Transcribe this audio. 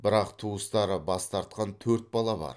бірақ туыстары бас тартқан төрт бала бар